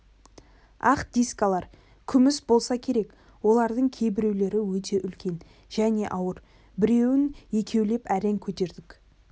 ақ дискалар күміс болса керек оларың кейбіреулері өте үлкен және ауыр біреуін екеулеп әрең көтердік